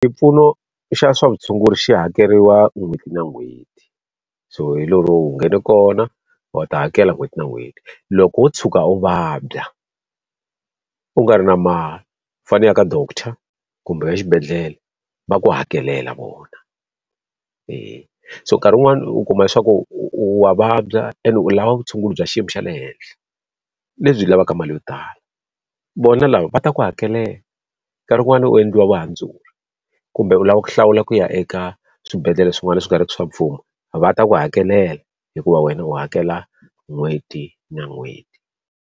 Xipfuno xa swa vutshunguri xi hakeriwa n'hweti na n'hweti, so hi lero u nghene kona u ta hakela n'hweti na n'hweti. Loko wo tshuka u vabya u nga ri na ma fanelaka director kumbe exibedhlele, va ku hakelela vona. so nkarhi wun'wani u kuma leswaku u u u wa vabya and u lava vutshunguri bya xiyimo xa le henhla lebyi u lavaka mali yo tala, vona lava va ta ku hakela. Nkarhi wun'wani u endliwa vuhandzuri, kumbe u lava ku hlawula ku ya eka swibedhlele swin'wana leswi nga ri ki swa mfumo, va ta ku hakelela hikuva wena u hakela n'hweti na n'hweti.